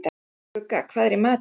Skugga, hvað er í matinn?